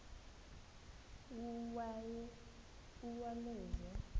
uwaleza